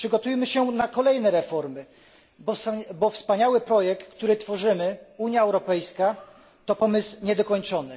Przygotujmy się na kolejne reformy, bo wspaniały projekt, który tworzymy Unia Europejska to pomysł niedokończony.